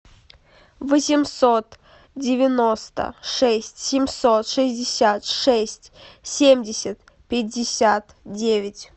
восемьсот девяносто шесть семьсот шестьдесят шесть семьдесят пятьдесят девять